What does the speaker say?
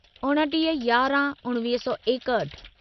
उणिटीह यारहं उणिवीह सौ एकहठि